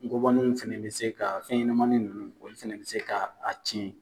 N kɔbanew fɛnɛ bɛ se ka fɛn ɲɛnɛmanin nunnu olu fɛnɛ bɛ se ka a tiɲɛ.